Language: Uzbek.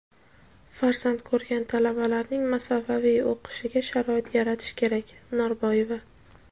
Farzand ko‘rgan talabalarning masofaviy o‘qishiga sharoit yaratish kerak – Norboyeva.